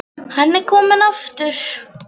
Hann er kominn aftur!